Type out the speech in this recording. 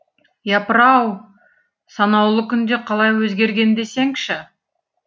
япыр ау санаулы күнде қалай өзгерген десеңізші